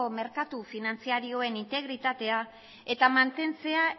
merkatu finantzarioaren integritatea eta mantentzea